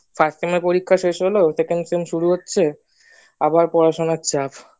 first sem এর পরীক্ষা শেষ হলো second sem শুরু হচ্ছে আবার পড়াশোনার পরীক্ষা চাপ